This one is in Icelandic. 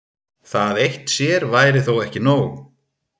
Það eitt sér væri þó ekki nóg.